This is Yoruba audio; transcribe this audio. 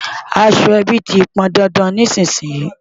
Aṣọ ẹbí ti pọn dandan nísìnyín.